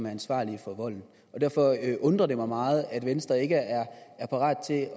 ansvarlige for volden derfor undrer det mig meget at venstre ikke er parat til